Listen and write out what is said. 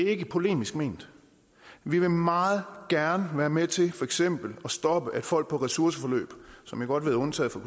ikke polemisk ment vi vil meget gerne være med til for eksempel at stoppe at folk på ressourceforløb som jeg godt ved er undtaget fra